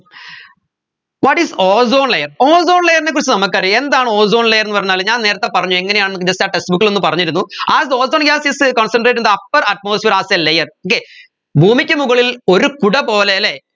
what is ozone layer ozone layer നെ കുറിച്ച് നമുക്കറിയാം എന്താണ് ozone layer എന്ന് പറഞ്ഞാൽ ഞാൻ നേരെത്തെ പറഞ്ഞു എങ്ങനെയാന്ന് നമ്മക്ക് just ആ textbook ൽ ഒന്ന് പറഞ്ഞിരുന്നു as ozone gas is a concentrated in the upper atmosphere as a layer okay ഭൂമിക്ക് മുകളിൽ ഒരു കുട പോലെ അല്ലെ